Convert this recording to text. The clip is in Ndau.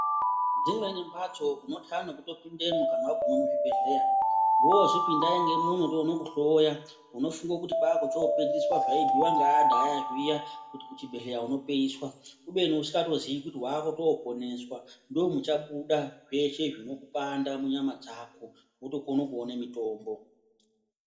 Dzimweni mhatso unotya nekutopindemwo kana waguma muzvibhedhlera woozwi pindai ngemuno tione kuhloya unofunga kuti kwakuchiopedziswa zvaibhuiwa ngeantu aya zviya kuti kuchibhedhlera unopeiswa kubeni usikatozii kuti wakoponeswa ndomuchabuda zveshe zvinokupanda munyama dzako wotokone kuone mitombo.